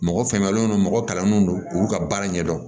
Mɔgɔ fɛŋɛlen don mɔgɔ kalannenw don u ka baara ɲɛdɔn